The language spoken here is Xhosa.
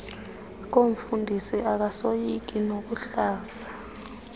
koomfundisi akasoyiki nokuhlaza